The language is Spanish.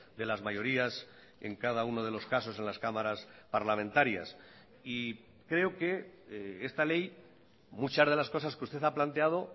de las mayorías en cada uno de los casos en las cámaras parlamentarias y creo que esta ley muchas de las cosas que usted ha planteado